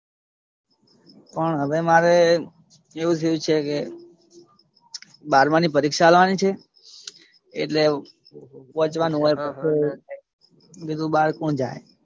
પણ હવે મારે એવું કઈ છે કે બારમાની પરીક્ષા આલવાની છે એટલે વાંચવાનું હોય તો બહાર કોણ જાય.